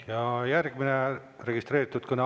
Ja järgmine registreeritud kõne.